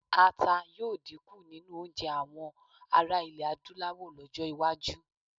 Ata yóò dínkù nínú oúnjẹ àwọ ará iẹ̀ Adúláwọ̀ lọ́jọ́-iwájú.